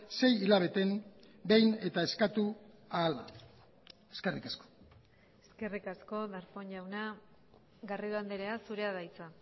sei hilabeteen behin eta eskatu ahala eskerrik asko eskerrik asko darpón jauna garrido andrea zurea da hitza